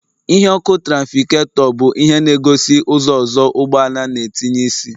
Ìhè ọkụ traficagetor bu ihe na-egosi ụzọ ozo ụgbọala na-etinye isi